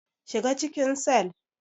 Shiga cikin cell.